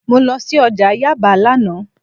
Mo lọ sí ọjà Yaba lánàá